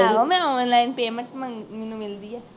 ਆਹੋ ਮੈਂ online payment ਮੰਗ ਮੈਨੂੰ ਮਿਲਦੀ ਹੈ